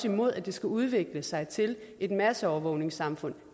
imod at det skal udvikle sig til et masseovervågningssamfund